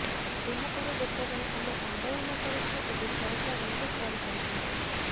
ଏହା ପରେ ଯେତେବେଳେ ଆମେ ଆନ୍ଦୋଳନ କରିଛୁ ଏବେ ସରକାର ନୋଟିସ ଜାରି କରିଛନ୍ତି